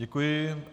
Děkuji.